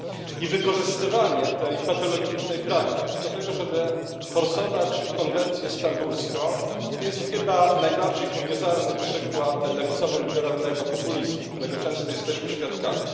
I wykorzystywanie tej patologicznej praktyki do tego, żeby forsować konwencję stambulską, to chyba najbardziej kuriozalny przykład lewicowo liberalnego populizmu, którego często jesteśmy świadkami.